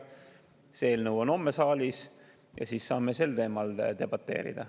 See on homme saalis ja siis saame sel teemal debateerida.